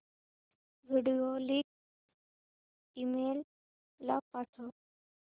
video link email ला पाठव